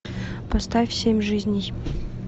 поставь семь жизней